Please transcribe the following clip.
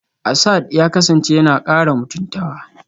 Asad ya kasance yana kara mutuntawa